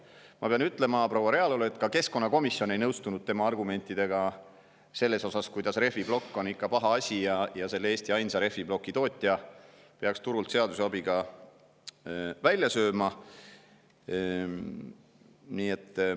Ma pean proua Realole ütlema, et ka keskkonnakomisjon ei nõustunud tema argumentidega, kuidas rehviplokk on paha asi ja selle Eesti ainsa rehviplokitootja peaks turult seaduse abiga välja sööma.